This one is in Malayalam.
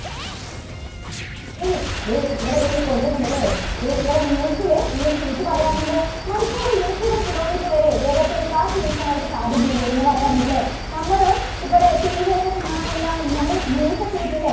ഇനി ദേ, ഇവിടെ ദേ കൊടുത്തിട്ടുണ്ട് അല്ലേ? ദേ ഇവിടെ news ല് ഈ ഒരു ചേച്ചി പറയുകയാണ് എന്ത് മണിക്കൂറിൽ നൂറ്റമ്പത് kilometer വരെ വേഗത്തിൽ കാറ്റ് വീശാൻ ആയിട്ട് സാധ്യതയുണ്ട് എന്ന് പറയാറുണ്ട് അല്ലേ? നമ്മള് ഇവിടെ TV ഒക്കെ കാണാന് എന്താണ് നമ്മള് news ഒക്കെ വയ്ക്കും അല്ലേ?